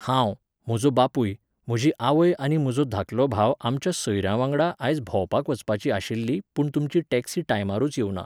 हांव, म्हजो बापूय, म्हजी आवय आनी म्हजो धाकलो भाव आमच्या सोयऱ्यां वांगडा आज भोंवपाक वचपाचीं आशिल्ली पूण तुमची टॅक्सी टायमारूच येवना